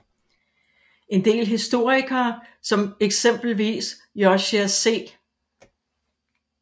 En del historikere som eksempelvis Josiah C